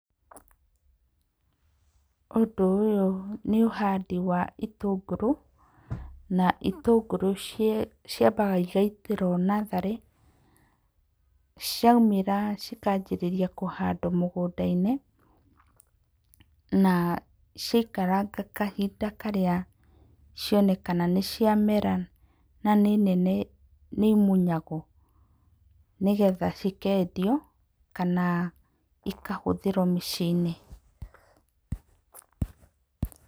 Ũndũ ũyũ nĩ ũhandi wa itũngũrũ na itũngũrũ ciambaga igaitĩrwo natharĩ, ciaumĩra cikanjĩrĩria kũhandwo mũgũnda-inĩ na ciaikaranga kahinda karĩa cionekana nĩ ciamera na nĩ nene nĩ imunyagwo nĩgetha cikendio kana ikahũthĩrwo mĩciĩ-inĩ.